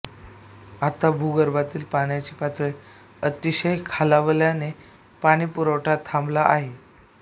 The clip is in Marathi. आता भूगर्भातील पाण्याची पातळी अतिशय खालावल्याने पाणीपुरवठा थांबला आहे